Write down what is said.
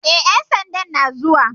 E, ƴan sandan na zuwa.